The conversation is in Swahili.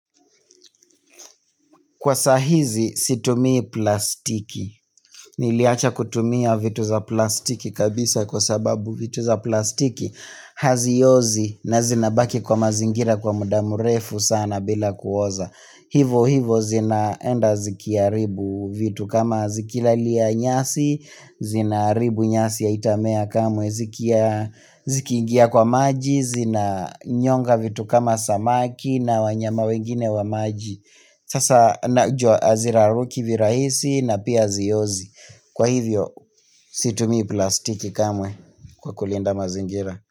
Kwa saa hizi situmi plastiki. Niliacha kutumia vitu za plastiki kabisa kwa sababu vitu za plastiki haziozi na zinabaki kwa mazingira kwa muda mrefu sana bila kuoza. Hivo hivo zinaenda zikia ribu vitu kama zikila lia nyasi, zina ribu nyasi ya haitamea kamwe zikia zikigia kwa maji, zina nyonga vitu kama samaki na wanyama wengine wa maji. Sasa najua haziraruki virahisi na pia haziozi Kwa hivyo situmi plastiki kamwe kwa kulinda mazingira.